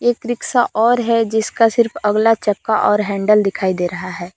एक रिक्शा और है जिसका सिर्फ अगला चक्का और हैंडल दिखाई दे रहा है।